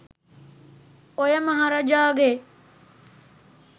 ඔය මහරජාගේ